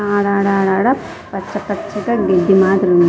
ఆడాడడా పచ్చ పచ్చగా గడ్డి మాదిరిగా ఉంది.